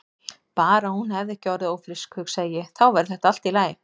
Bara að hún hefði ekki orðið ófrísk, hugsaði ég, þá væri þetta allt í lagi.